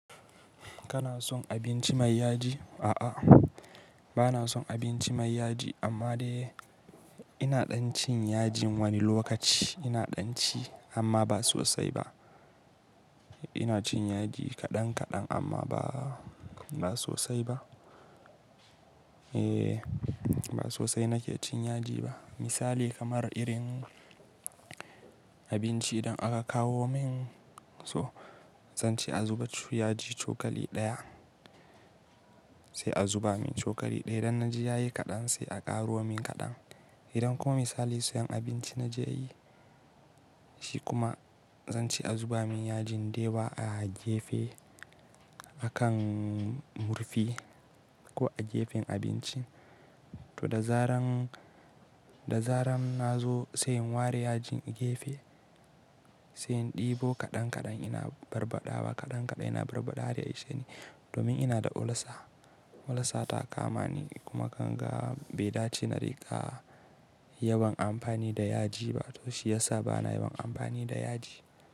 Kana son abinci mai yaji? A'a, ba na son abinci mai yaji amma dai ina ɗan cin yajin wani lokaci ina ɗan ci amma ba sosai ba. Ina cin yaji kaɗan kaɗan amma ba, ba sosai ba. Eh, ba sosai nake cin yaji ba. Misali kamar irin abinci idan aka kawo min so zanci a zuba su yaji cokali ɗaya. Sai a zuba min cokali ɗaya idan na ji ya yi kaɗan sai a ƙaro min kaɗan. Idan kuma misali siyan abinci na je yi shi kuma zanci a zuba min yajin da yawa a gefe akan murfi ko a gefen abincin. To da zaran, da zaran na zo sai in ware yajin gefe sai in ɗebo kaɗan kaɗan ina barbaɗawa kaɗan kaɗan ina barbaɗa har ya ishe ni domin ina da ulcer. Ulcer ta kama ni kuma kanga bada ci na riga yawan amfani da yaji ba to shi ya sa ba na yawan amfani da yaji.